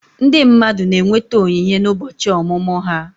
Ndị mmadụ na-enweta onyinye n'ụbọchị ọmụmụ ha